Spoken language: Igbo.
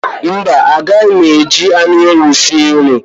Mba, agaghị m eji anụ ewu sie nri